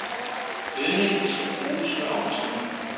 Gødning skal bruges med omtanke.